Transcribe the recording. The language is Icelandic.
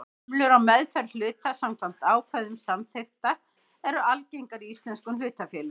Hömlur á meðferð hluta samkvæmt ákvæðum samþykkta eru algengar í íslenskum hlutafélögum.